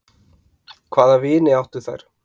Hvaða vini áttu þær?